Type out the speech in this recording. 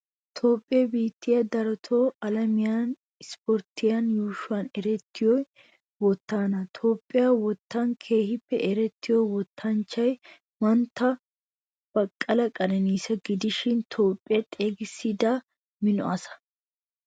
Toophphiyaa biittay darotto alamiyan issiporttiyaa yuushshuwan erettiyoy wottana. Toophphiyaa wottan keehin erettiya wottanchchay mantta baqqala qeneniisa gidishin toophphiyaa xeeggisida mino asa.